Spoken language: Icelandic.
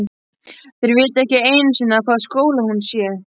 Þeir viti ekki einu sinni í hvaða skóla hún sé.